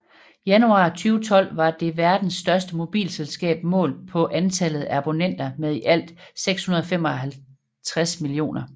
Januar 2012 var det verdens største mobilselskab målt på antallet af abonnenter med i alt 655 millioner